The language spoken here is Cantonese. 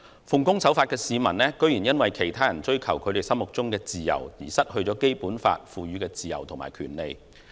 奉公守法的市民居然因為其他人追求他們心目中的自由，而失去《基本法》賦予的自由和權利。